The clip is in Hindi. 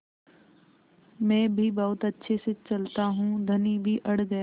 मैं भी बहुत अच्छे से चलता हूँ धनी भी अड़ गया